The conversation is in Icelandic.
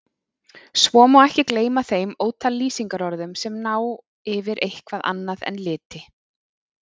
Svo má ekki gleyma þeim ótal lýsingarorðum sem ná yfir eitthvað annað en liti.